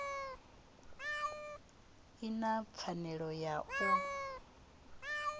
i na pfanelo ya u